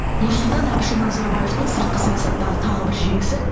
нұрсұлтан әбішұлы назарбаевтың сыртқы саясаттағы тағы бір жеңісі